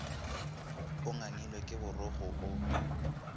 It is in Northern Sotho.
o ngangilwe ke borokgo o